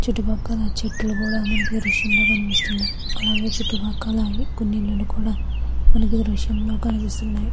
చెట్లు కూడా మనకి ఈ దృశ్యంలో కూడా కనిపితున్నాయ్. అలాగే చుట్టు పక్కల కొన్ని ఇల్లులు కూడా మనకి దృశ్యంలో కనిపిస్తున్నాయి.